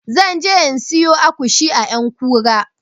Zan je in siyo agushi a ƴankura